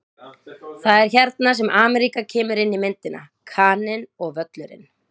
Það er hérna sem Ameríka kemur inn í myndina: Kaninn og Völlurinn.